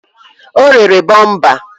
O rere bọmpa